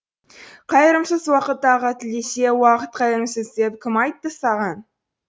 қайырымсыз уақыт тағы тілдесе уақыт қайырымсыз деп кім айтты саған